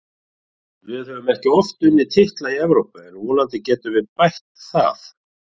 Við höfum ekki oft unnið titla í Evrópu en vonandi getum við bætt það.